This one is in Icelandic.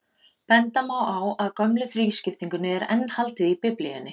Benda má á að gömlu þrískiptingunni er enn haldið í Biblíunni.